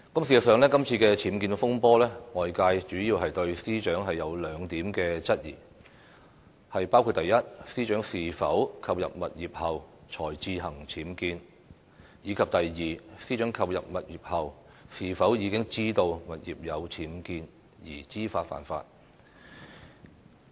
事實上，今次僭建風波，外界主要對司長有兩點質疑：第一，司長是否購入物業後才自行僭建；第二，司長購入物業後，是否已知道物業有僭建而知法犯法。